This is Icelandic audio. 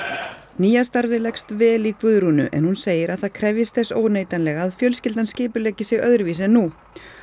nýja starfið leggst vel í Guðrúnu en hún segir að það krefjist þess óneitanlega að fjölskyldan skipuleggi sig öðruvísi en nú